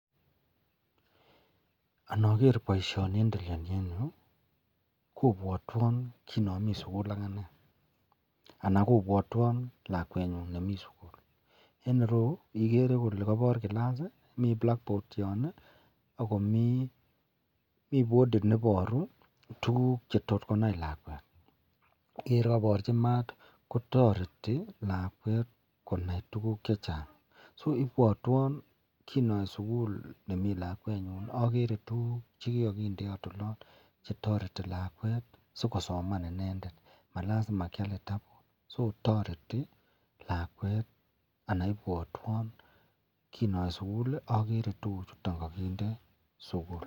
Anker baishoni en en Yu kobwatwon ki nami sukul agane anan kobwatwon lakwenyun nemi sukul en ireyu igere Kole kabar class mi blackboard yon akomi bodit nebaru tuguk chetot konai lakwet Ker kokabarchi mat kotareti lakwet konai tuguk chechang so ibwatwon kinawe sukul nemi lakwenyun agere tuguk chekakindeyot olon chetareti lakwet sikosoman inendet malazima kial kitabut tareti lakwet anan ibwatwon kinawe sukul agere tuguk chuton en sugul